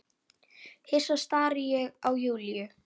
Hissa stari ég á Júlíu.